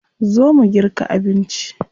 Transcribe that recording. Zo mu girka abinci.